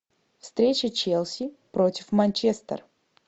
встреча челси против манчестер